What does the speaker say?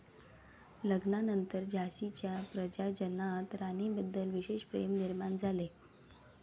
लग्नानंतर झाशीच्या प्रजाजनांत राणीबद्दल विशेष प्रेम निर्माण झाले.